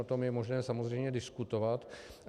O tom je možné samozřejmě diskutovat.